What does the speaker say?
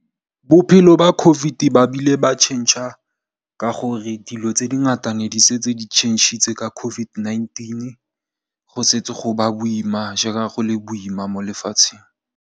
Bophelo ba COVID-19 bo ile ba tšhentšha ka gore dilo tse di ngata ne di setse di tšhentšhitse ka COVID-19 go setse go ba boima jaaka go le boima mo lefatsheng.